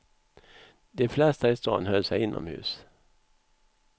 De flesta i staden höll sig inomhus.